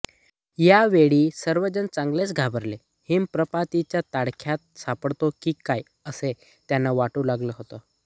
या वेळी सर्वजण चांगलेच घाबरले हिमप्रपातीच्या तडाख्यात सापडतो की काय असे त्यांना वाटू लागले होते